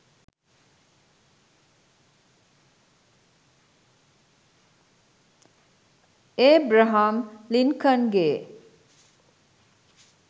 Abraham ලින්කන්ගෙ